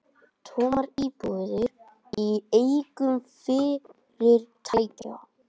Tómar íbúðir í eigu fyrirtækja